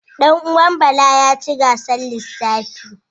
Ɗan uwan Bala ya ci gasar lissafi.